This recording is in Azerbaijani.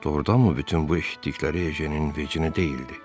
“Doğurdanmı bütün bu eşitdikləri Ejenin vecinə deyildi?”